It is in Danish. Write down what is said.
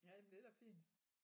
Jamen det er da fint